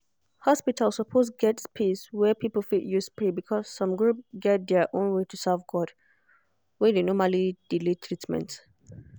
hospital suppose get space wey people fit use pray because some group get their own way to serve god. were dey normally delay treatment